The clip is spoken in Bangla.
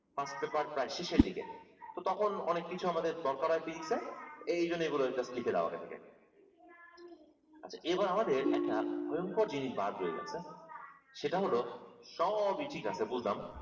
first paper প্রায় শেষের দিকে তো তখন অনেক কিছু আমাদের দরকার হয় physics এ এইজন্য এগুলা just লিখে নাও এখান থেকে আচ্ছা এবার আমাদের একা ভয়ংকর জিনিস বাদ রয়ে গেছে সেটা হলো সবই ঠিক আছে বুঝলাম